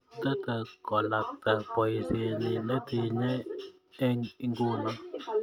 Ttetei kolakta boisyenyi netinyei eng inguno.